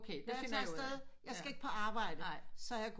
Da jeg tager afsted jeg skal ikke på arbejde så jeg går